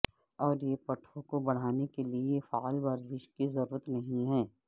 اور یہ پٹھوں کو بڑھانے کے لئے فعال ورزش کی ضرورت نہیں ہے